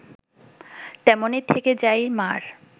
তেমনই থেকে যায় মা’র